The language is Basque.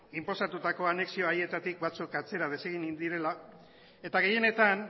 inposatutako anexio haietatik batzuk atzera desegin egin direla eta gehienetan